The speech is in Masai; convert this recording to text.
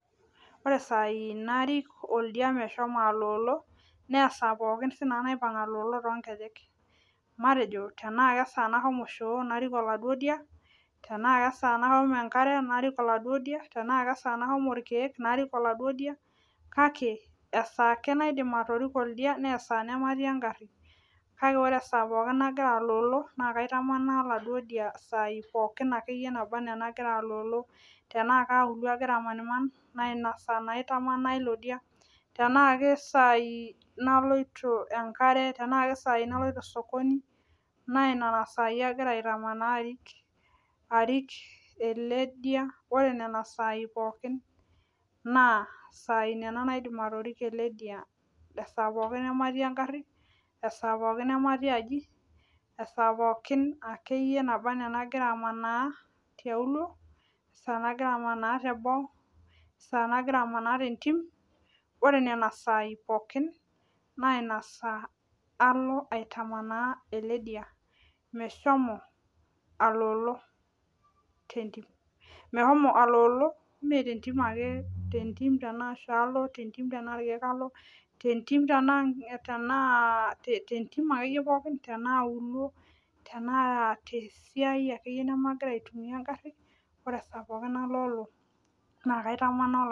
Ore isaai narik oldia meshomo aloolo naa isaai naipang aloolo sinanu toonkejek matejo tenaa kesaa nashomo shoo narik oladuo dia tenaa kesaa nashomo enkare narik aladuo dia tenaa kesaa nashomo irkiek narik oladuo dia kake esaaa ake naidim atoriko oldia esaa ake nematii engari ore esaa pookin nagira aloolo naa kaitamanaa oladuo dia isaai pookin nagira aloolo tenaa kauluo agira amaniman naainasaa naa aitamanaa ilo dia tenaa kesai naloito enkare tenaa kesaai naloito sokoni naaanena saai aloito naa arik ele dia ore ena saai pookin naa saai nena naidim atoriko ele dia esaa pooki namatii engari esaa pookin namatii aji esaa pookin akeyie nagira amanaa tiauo esaa nagira amanaa teboo esaa nagira amanaa tentim ore nena saai pookin naa ina saa alo aitamanaa ele dia meshomo aloolo tentim metentim ake tentim tenaa shoo alo tentim tenaa tentim akeyie tenaa auluo ore esaa naloolo naa kaitamanaa